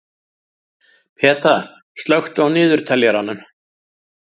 Peta, slökktu á niðurteljaranum.